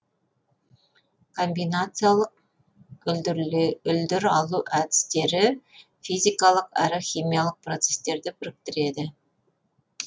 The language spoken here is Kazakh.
комбинациялық үлдір алу әдестері физикалық әрі химиялық процестерды біріктіреді